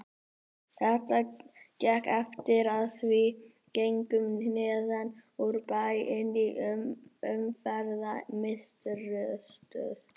Þetta gekk eftir og við gengum neðan úr bæ inn í Umferðarmiðstöð.